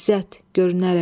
İzzət görünərək.